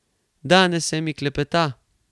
Danes se mi klepeta.